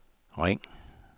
ring